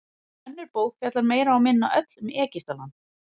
Önnur bók fjallar meira og minna öll um Egyptaland.